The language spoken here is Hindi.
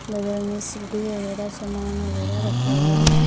बगल में सीडी वगैरा सामान वगैरा रखा हुआ है।